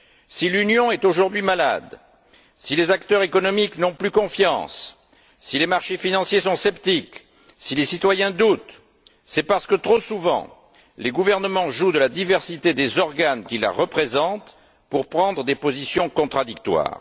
Si l'Union est aujourd'hui malade, si les acteurs économiques n'ont plus confiance, si les marchés financiers sont sceptiques, si les citoyens doutent, c'est parce que, trop souvent, les gouvernements jouent de la diversité des organes qui la représentent pour prendre des décisions contradictoires.